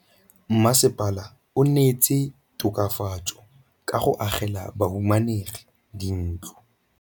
Mmasepala o neetse tokafatsô ka go agela bahumanegi dintlo.